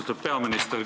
Austatud peaminister!